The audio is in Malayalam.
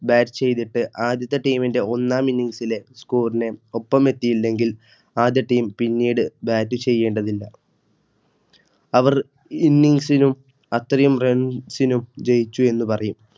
Bat ചെയ്തിട്ട് ആദ്യത്തെ Team ന്റെ ഒന്നാം Innings ലെ Score നെ ഒപ്പം എത്തിയില്ലെങ്കിൽ ആദ്യ ടീം പിന്നീട് ബാറ്റ് ചെയ്യേണ്ടതില്ല. അവർ ഇന്നിംഗ്സിലും അത്രയും റൺസി നും ജയിച്ചു എന്നു പറയും